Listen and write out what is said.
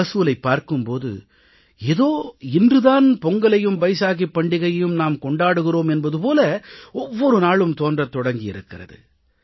மகசூலைப் பார்க்கும் போது ஏதோ இன்று தான் பொங்கலையும் பைசாகிப் பண்டிகையையும் நாம் கொண்டாடுகிறோம் என்பது போல ஒவ்வொரு நாளும் தோன்றத் தொடங்கி இருக்கிறது